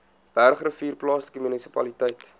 bergrivier plaaslike munisipaliteit